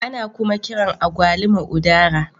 Ana kuma kiran Agwaluma " udara"